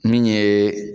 Min ye